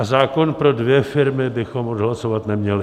A zákon pro dvě firmy bychom odhlasovat neměli.